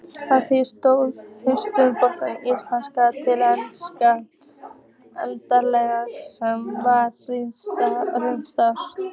Að því stóð Rithöfundasamband Íslands hið eldra, sem var regnhlífarsamtök